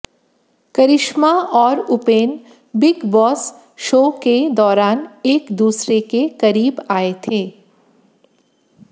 करिश्मा और Upen Bigg Boss show के दौरान एक दूसरे के करीब आए थे